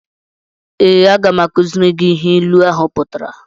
Ee, aga m akuziri gị ihe ịlu ahụ pụtara